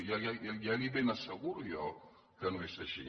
ja li ben asseguro jo que no és així